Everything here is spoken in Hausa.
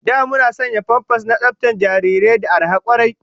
Da muna sayan famfas na tsaftar jarirai da arha kwarai